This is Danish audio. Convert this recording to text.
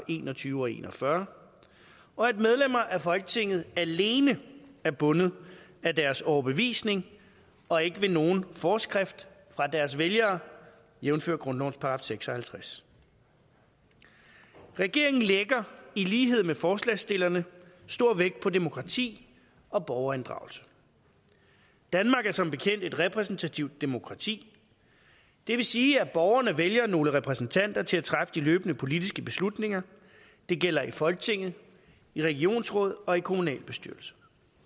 en og tyve og en og fyrre og at medlemmer af folketinget alene er bundet af deres overbevisning og ikke ved nogen forskrift fra deres vælgere jævnfør grundlovens § seks og halvtreds regeringen lægger i lighed med forslagsstillerne stor vægt på demokrati og borgerinddragelse danmark er som bekendt et repræsentativt demokrati det vil sige at borgerne vælger nogle repræsentanter til at træffe de løbende politiske beslutninger det gælder i folketinget i regionsråd og i kommunalbestyrelse